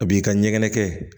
A b'i ka ɲɛgɛn kɛ